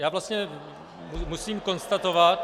Já vlastně musím konstatovat...